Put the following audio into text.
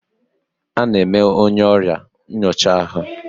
A na-eme onye ọrịa nyocha ahụ.